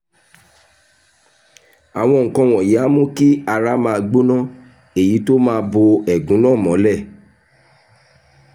àwọn nǹkan wọ̀nyí á mú kí ara máa gbóná èyí tó máa bo ẹ̀gún náà mọ́lẹ̀